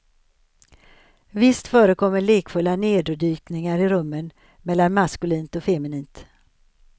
Visst förekommer lekfulla nerdykningar i rummen mellan maskulint och feminint.